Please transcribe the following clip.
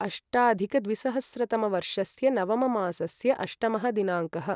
अष्टाधिकद्विसहस्रतमवर्षस्य नवममासस्य अष्टमः दिनाङ्कः